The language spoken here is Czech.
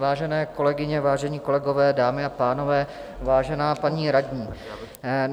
Vážené kolegyně, vážení kolegové, dámy a pánové, vážená paní radní.